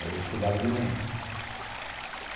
Aí eu estudava de manhã.